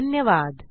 धन्यवाद